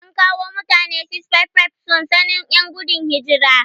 An kawo mutane 655 sansanin 'yan gudun hijira.